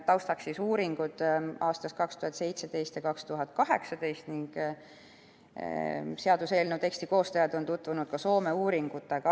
Taustaks on uuringud aastast 2017 ja 2018 ning seaduseelnõu teksti koostajad on tutvunud ka Soome uuringutega.